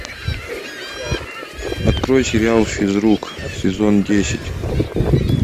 открой сериал физрук сезон десять